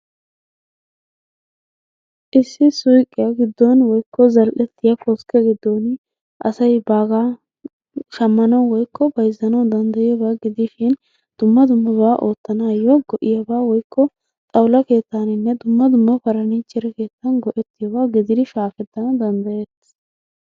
Issi suyiqiya giddon woyikko zal"ettiya koskke giddooni asay baagaa shammanawu woyikko bayizzanawu dandayiyoobaa gidishin dumma dummabaa oottanaayyo go"iyaagaa woyikko xawula keettaaninne dumma dumma parniichere keettaan go"ettiyoogaa gidiri shaakettanawu dandayetes.